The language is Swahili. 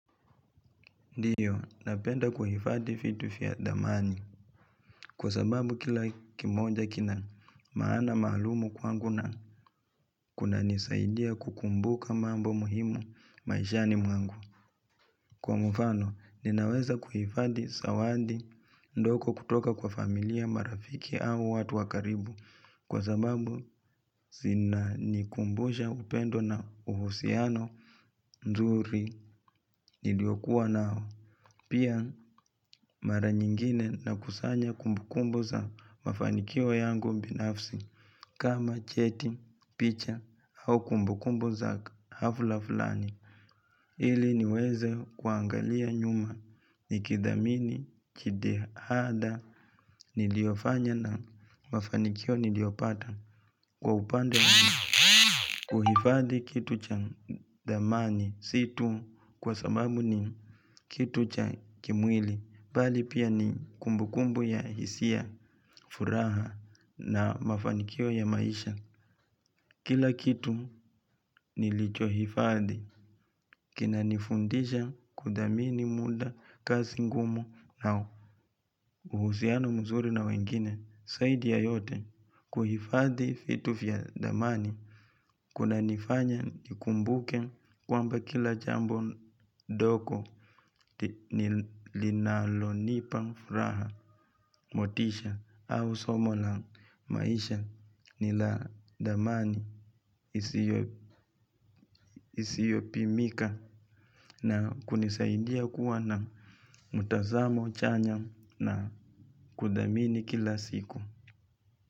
Ndiyo napenda kuhifadhi vitu vya thamani kwa sababu kila kimoja kina maana maalumu kwangu na kunanisaidia kukumbuka mambo muhimu maishani mwangu kwa mfano ninaweza kuhifadhi zawadi ndogo kutoka kwa familia marafiki au watu wa karibu kwa sababu zinanikumbusha upendo na uhusiano nzuri niliokuwa nao pia mara nyingine nakusanya kumbukumbu za mafanikio yangu binafsi. Kama cheti, picha au kumbukumbu za hafla fulani ili niweze kuangalia nyuma nikithamini jitihada niliyofanya na mafanikio niliyopata kwa upande wangu kuhifadhi kitu cha thamani si tu kwa sababu ni kitu cha kimwili bali pia ni kumbukumbu ya hisia, furaha na mafanikio ya maisha. Kila kitu nilichohifadhi kinanifundisha kuthamini muda, kazi ngumu na uhusiano mzuri na wengine zaidi ya yote kuhifadhi vitu vya thamani. Kunanifanya nikumbuke kwamba kila jambo dogo linalonipa furaha, motisha au somo la maisha ni la thamani isiyopimika na kunisaidia kuwa na mtazamo chanya na kuthamini kila siku.